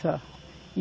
Só.